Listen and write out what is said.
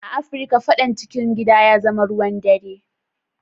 A Africa fadan cikin gida ya zama ruwan dare.